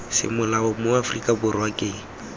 semolao mo aforika borwa ke